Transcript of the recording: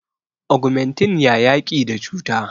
ogumentin ya yaki da cuta